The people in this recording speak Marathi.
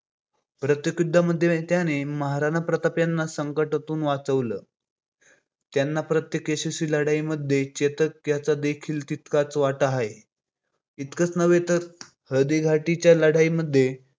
प्रत्येक युद्धामध्ये त्याने महाराणा प्रताप यांना संकटातून वाचवलं, त्यांच्या प्रत्येक यशस्वी लढाईमध्ये चेतक याचा देखील तितकाच वाटा आहे. इतकच नव्हे तर हळदी घाटी च्या रुद्राईमध्ये